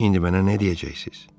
İndi mənə nə deyəcəksiniz?